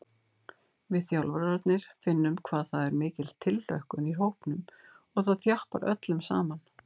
Við þjálfararnir finnum hvað það er mikil tilhlökkun í hópnum og það þjappar öllum saman.